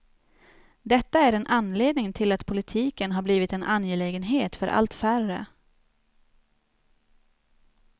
Detta är en anledning till att politiken har blivit en angelägenhet för allt färre.